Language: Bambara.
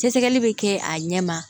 Sɛgɛsɛgɛli bɛ kɛ a ɲɛma